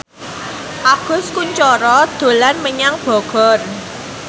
Agus Kuncoro dolan menyang Bogor